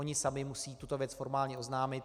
Oni sami musí tuto věc formálně oznámit.